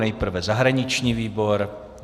Nejprve zahraniční výbor.